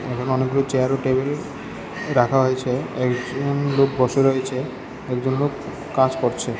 এখানে অনেকগুলো চেয়ার ও টেবিল রাখা হয়েছে একজন লোক বসে রয়েছে একজন লোক কাজ করছে।